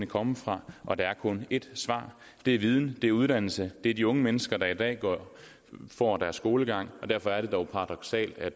komme fra og der er kun et svar det er viden det er uddannelse det er de unge mennesker der i dag får deres skolegang derfor er det dog paradoksalt at